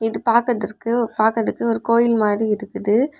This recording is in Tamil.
இது பாக்கதற்கு பாக்குறதுக்கு ஒரு கோயில் மாறி இருக்கு.